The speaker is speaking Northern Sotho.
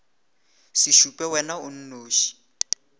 se šupe wena o nnoši